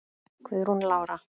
Guðrún Lára.